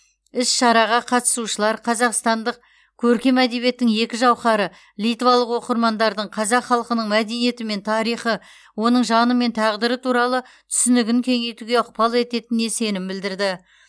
іс шараға қатысушылар қазақстандық көркем әдебиеттің екі жауһары литвалық оқырмандардың қазақ халқының мәдениеті мен тарихы оның жаны мен тағдыры туралы түсінігін кеңейтуге ықпал ететініне сенім білдірді